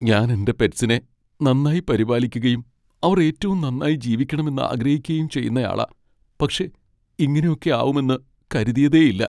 ഞാൻ എന്റെ പെറ്റ്സിനെ നന്നായി പരിപാലിക്കുകയും അവർ ഏറ്റവും നന്നായി ജീവിക്കണമെന്ന് ആഗ്രഹിക്കുകയും ചെയ്യുന്നയാളാ. പക്ഷേ ഇങ്ങനെയൊക്കെ ആവുമെന്ന് കരുതിയതേയില്ല.